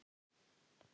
Hvað viltu mér?